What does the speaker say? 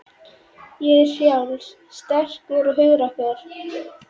Ég er frjáls, sterkur og hugrakkur.